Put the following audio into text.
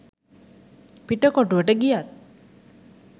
පිටකොටුවට ගියත්